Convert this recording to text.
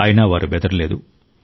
అయినా వారు బెదరలేదు